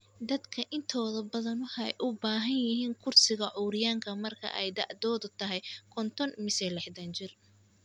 Dadka intooda badan waxay u baahan yihiin kursiga curyaanka marka ay da'doodu tahay konton mise lixdan jir.